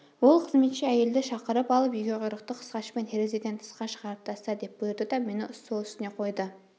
ол қызметші әйелді шақырып алып егеуқұйрықты қысқашпен терезеден тысқа шығарып таста деп бұйырды да мені стол үстіне қойды